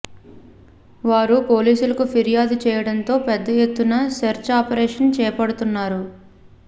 వారు పోలీసులకు ఫిర్యాదు చేయడంతో పెద్ద ఎత్తున సెర్చ్ ఆపరేషన్ చేపడుతున్నారు